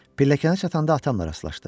Pilləkanına çatanda atamla rastlaşdım.